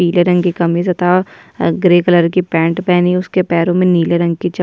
पिले रंग की कमीज तथा ग्रे कलर की पेंट पेहनी उसके पैरों में नीले रंग की चप्पल --